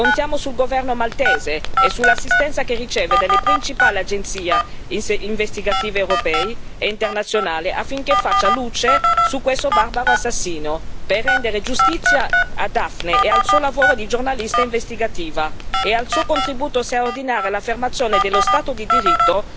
Contiamo sul governo maltese e sull'assistenza che riceve dalle principali agenzie investigative europee e internazionali, affinché faccia luce su questo barbaro assassinio, per rendere giustizia a Dafne e al suo lavoro di giornalista investigativo e al suo contributo straordinario all'affermazione dello Stato di diritto,